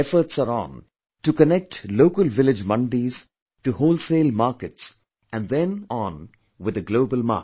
Efforts are on to connect local village mandis to wholesale market and then on with the global market